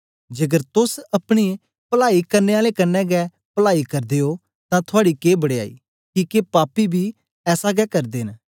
जेकर तोस अपने पलाई करने आलें कन्ने गै पलाई करदे ओ तां थुआड़ी के बड़याई किके पापी बी ऐसा गै करदे न